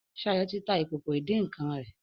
Shayo tí tá ìkókó idin nkán rè